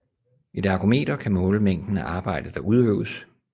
Et ergometer kan måle mængden af arbejde der udøves